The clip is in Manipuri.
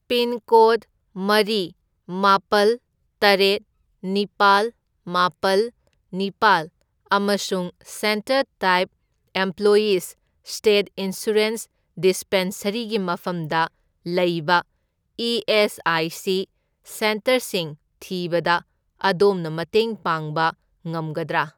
ꯄꯤꯟꯀꯣꯗ ꯃꯔꯤ, ꯃꯥꯄꯜ, ꯇꯔꯦꯠ, ꯅꯤꯄꯥꯜ, ꯃꯥꯄꯜ, ꯅꯤꯄꯥꯜ ꯑꯃꯁꯨꯡ centre type employees'' state insurance ꯗꯤꯁꯄꯦꯟꯁꯔꯤꯒꯤ ꯃꯐꯝꯗ ꯂꯩꯕ ꯏ.ꯑꯦꯁ.ꯑꯥꯏ.ꯁꯤ. ꯁꯦꯟꯇꯔꯁꯤꯡ ꯊꯤꯕꯗ ꯑꯗꯣꯝꯅ ꯃꯇꯦꯡ ꯄꯥꯡꯕ ꯉꯝꯒꯗ꯭ꯔꯥ?